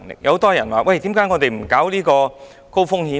有很多人問，為何不設立高風險池？